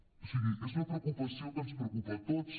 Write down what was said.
o sigui és una preocupació que ens preocupa a tots